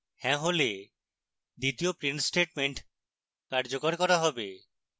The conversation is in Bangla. হ্যাঁ হলে দ্বিতীয় print statement কার্যকর করা হবে